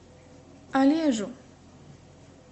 олежу